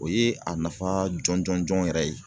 O ye a nafa jɔn jɔn jɔn yɛrɛ ye